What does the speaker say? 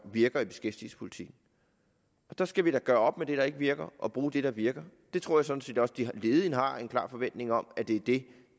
virker i beskæftigelsespolitikken der skal vi da gøre op med det der ikke virker og bruge det der virker jeg tror sådan set også at de ledige har en klar forventning om at det er det